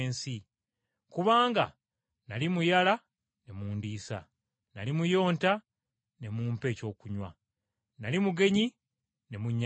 Kubanga nnali muyala ne mundiisa, nnali muyonta ne mumpa ekyokunywa, nnali mugenyi ne munnyaniriza,